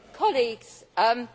Mr President,